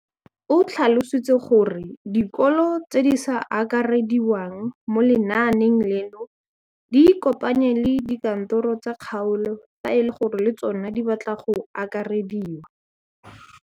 O tlhalositse gore dikolo tse di sa akarediwang mo lenaaneng leno di ikopanye le dikantoro tsa kgaolo fa e le gore le tsona di batla go akarediwa.